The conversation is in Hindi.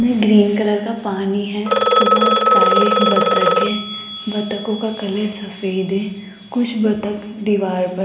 में ग्रीन कलर का पानी है बहोत सारे बत्तख हैं बत्तखों का कलर सफेद है कुछ बत्तख दीवार पर --